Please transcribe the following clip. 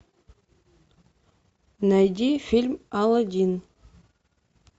найди фильм аладдин